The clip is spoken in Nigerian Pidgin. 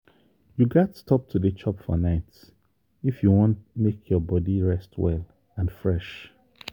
you gats stop to dey chop for night if you wan make your body rest well and fresh.